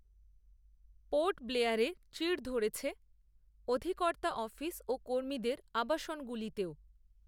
port ব্লেয়ারে চিড় ধরেছে, অধিকর্তার অফিস, ও কর্মীদের, আবাসনগুলিতেও